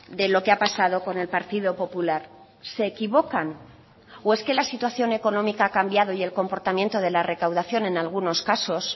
de lo que ha pasado con el partido popular se equivocan o es que la situación económica ha cambiado y el comportamiento de la recaudación en algunos casos